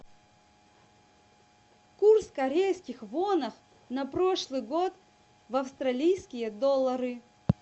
курс корейских вонов на прошлый год в австралийские доллары